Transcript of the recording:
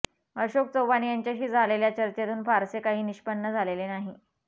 अशोक चव्हाण यांच्याशी झालेल्या चर्चेतून फारसे काही निष्पन्न झाले नाही